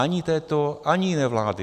Ani této, ani jiné vlády.